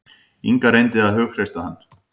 Inga reyndi að hughreysta hann.